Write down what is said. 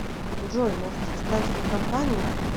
джой может составишь мне компанию